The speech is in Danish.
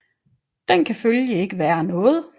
Den kan følgelig ikke være noget